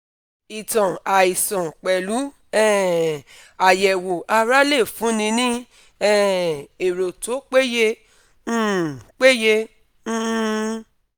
ìtàn àìsàn pẹ̀lú um àyẹ̀wò ara lè fúnni ní um èrò tó peye um peye um